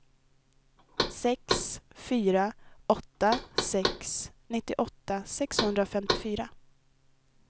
sex fyra åtta sex nittioåtta sexhundrafemtiofyra